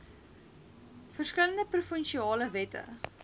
verskillende provinsiale wette